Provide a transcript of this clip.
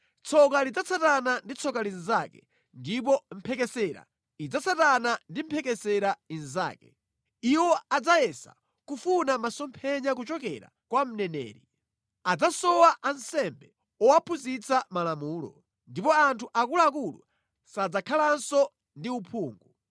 Tsoka lidzatsatana ndi tsoka linzake, ndipo mphekesera idzatsatana ndi mphekesera inzake. Iwo adzayesa kufuna masomphenya kuchokera kwa mneneri. Adzasowa ansembe owaphunzitsa malamulo, ndipo anthu akuluakulu sadzakhalanso ndi uphungu.